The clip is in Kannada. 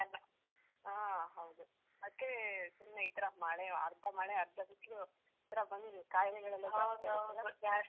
ಆ ಹೌದು. ಅದ್ಕೇ ಸುಮ್ನೆ ಈತರ ಮಳೆ, ಅರ್ಧ ಮಳೆ ಅರ್ಧ ಬಿಸ್ಲು ಈತರ ಬಂದು ಕಾಯಿಲೆಗಳೆಲ್ಲ ಜಾಸ್ತಿ ಆಯ್ತಲ್ಲ?